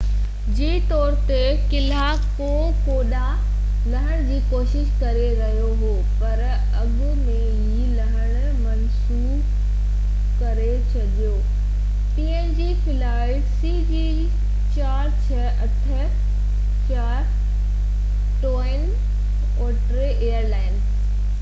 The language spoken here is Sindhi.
twin otter airline png flight cg4684 جي طور تي ڪلهہ ڪوڪوڊا تي لهڻ جي ڪوشش ڪري رهيو هو پر اڳ ۾ ئي لهڻ منسوخ ڪري ڇڏيو هو